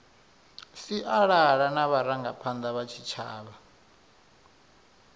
sialala na vharangaphanda vha tshitshavha